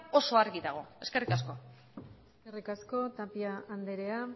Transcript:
oso argi dago eskerrik asko eskerrik asko tapia andrea